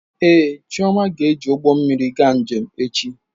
Ee, Chioma ga-eji ụgbọ mmiri gaa njem echi.